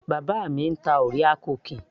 bàbá mi ń ta orea cookies